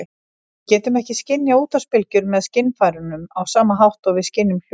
Við getum ekki skynjað útvarpsbylgjur með skynfærunum á sama hátt og við skynjum hljóð.